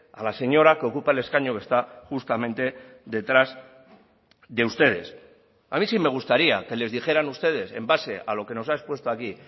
a la señora que ocupa el escaño que está justamente detrás de ustedes a mí sí me gustaría que les dijeran ustedes en base a lo que nos ha expuesto aquí